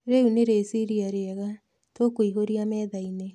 Rĩu nĩ rĩciria rĩega. Tũkũihũria metha-inĩ.